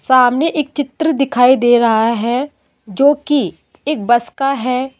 सामने एक चित्र दिखाई दे रहा है जो की एक बस का है।